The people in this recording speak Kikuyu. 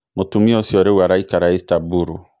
Mũtumia ũcio rĩu araikara Istaburu.